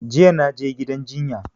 Jiya na je gidan jinya